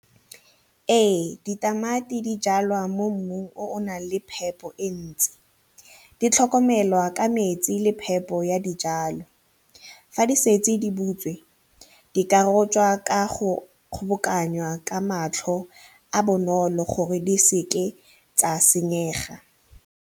Ee ditamati di jalwa mo mmung o o nang le phepo e ntsi, di tlhokomelwa ka metsi le phepo ya dijalo, fa di setse di butswe di ka rojwa ka go kgobokanya ka matlho a bonolo gore di seke tsa senyega.